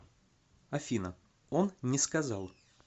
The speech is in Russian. афина он не сказал